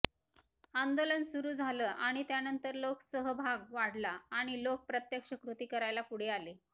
आंदोलन सुरू झालं आणि त्यानंतर लोकसहभाग वाढला आणि लोक प्रत्यक्ष कृती करायला पुढे आले